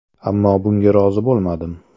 Ammo bunga rozi bo‘lmadim.